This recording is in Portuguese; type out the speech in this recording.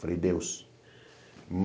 Falei, Deus.